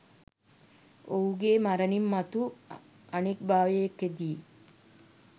ඔහුගේ මරණින් මතු අනෙක් භවයකදී